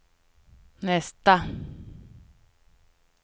nästa